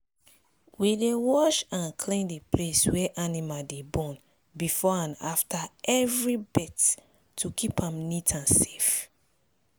we dey wash and clean the place wey animal dey born before and after every birth to keep am neat and safe.